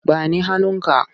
Ba ni hannunka!